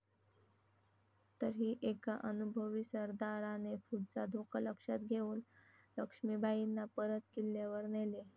तरीही एका अनुभवी सरदाराने पुढचा धोका लक्षात घेऊन लक्ष्मीबाईंना परत किल्ल्यावर नेले.